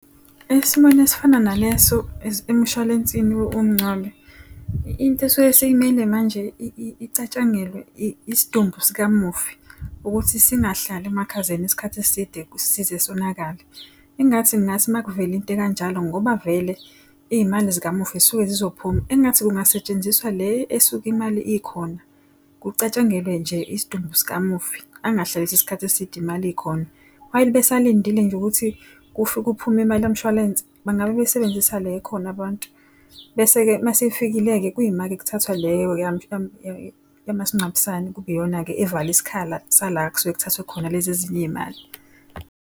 Esimweni esifana naleso emshwalensini womngcwabo, into esuke simele manje icatshangelwe isidumbu sikamufi, ukuthi singahlali emakhazeni isikhathi eside, size sonakale. Ingathi kungathi uma kuvele into ekanjalo ngoba vele iy'mali zikamufi zisuke zizophuma engathi kungasetshenziswa le esuke imali ikhona. Kucatshangelwe nje isidumbu sikamufi. Angahlaliswa isikhathi eside imali ikhona. While besalindile nje ukuthi kuphume imali yamshwalense, bangabe besebenzisa le ekhona abantu. Bese-ke mase ifikile-ke kuyima-ke kuthathwa leyo yamasingcwabisane kube iyona-ke evala isikhala sala kusuke kuthathwe khona lezi ezinye iy'mali.